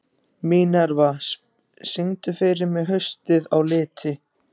Minerva, syngdu fyrir mig „Haustið á liti“.